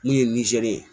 Min ye nizeri ye